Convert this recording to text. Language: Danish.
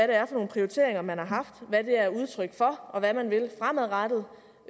det er for nogle prioriteringer man har haft hvad de er udtryk for og hvad man vil fremadrettet